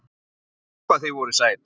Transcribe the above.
Guð hvað þið voruð sæt!